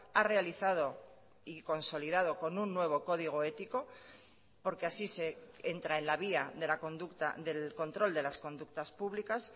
ha realizado y consolidado con un nuevo código ético porque así se entra en la vía de la conducta del control de las conductas públicas